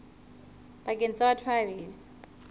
pakeng tsa batho ba babedi